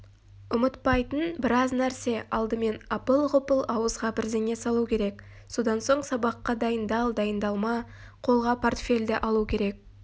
ұмытпайтын біраз нәрсе алдымен апыл-ғұпыл ауызға бірдеңе салу керек содан соң сабаққа дайындал-дайындалма қолға портфельді алу керек